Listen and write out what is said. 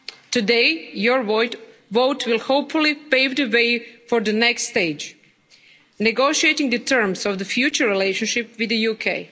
Today, your vote will hopefully pave the way for the next stage negotiating the terms of the future relationship with the UK.